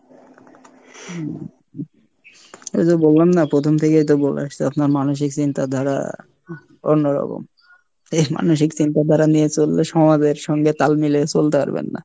হম এইযে বললাম না প্রথম থেকেই তো বলে আসছি আপনার মানসিক চিন্তা ধারা অন্যরকম এই, মানসিক চিন্তা ধারা নিয়ে চললে সমাজের সঙ্গে তাল মিলিয়ে চলতে পারবেন না।